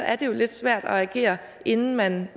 er jo lidt svært at agere inden man